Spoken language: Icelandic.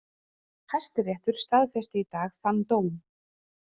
Hæstiréttur staðfesti í dag þann dóm